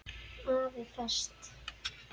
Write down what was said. AFI Fest